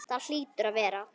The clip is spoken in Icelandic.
Það hlýtur að vera.